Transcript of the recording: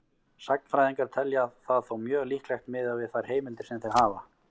Sagnfræðingar telja það þó mjög líklegt miðað við þær heimildir sem þeir hafa.